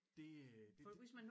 Det øh det